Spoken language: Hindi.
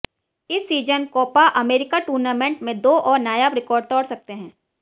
इस सीजन कोपा अमेरिका टूर्नामेंट में दो और नायाब रिकॉर्ड तोड़ सकते हैं